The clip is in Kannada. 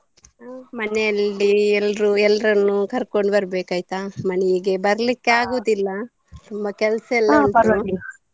ಮನೇಲಿ ಎಲ್ರು ಎಲ್ರನ್ನು ಕರ್ಕೊಂಡು ಬರ್ಬೇಕ್ ಆಯ್ತಾ ಮನೆಗೆ ಬರ್ಲಿಕೆ ಆಗೋದಿಲ್ಲ ತುಂಬಾ ಕೆಲಸಯೆಲ್ಲ ಉಂಟು .